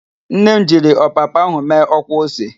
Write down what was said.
Nne m jiri ọpapa ahụ mee ọkwa ose.